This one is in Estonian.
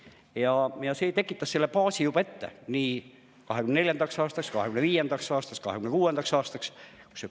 Ja see tekitas selle baasi juba ette nii 2024. aastaks, 2025. aastaks kui ka 2026. aastaks.